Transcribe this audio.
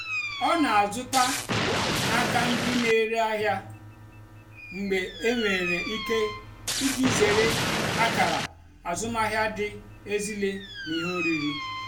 ọ́ nà-àzụ́tá n'ákà ndí nà-èrè àhịá mgbe énwèrè íké ìjì zèré àkàrà àzụ́mahìá dì ézílé nà íhé órírì.